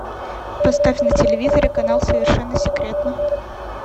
поставь на телевизоре канал совершенно секретно